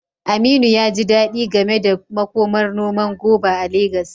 Aminu ya ji dadi game da makomar noman goba a Legas.